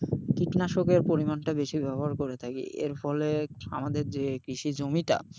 কীটনাশকের পরিমাণটা বেশি ব্যবহার করে থাকি, এরফলে আমাদের যে কৃষি জমিটা,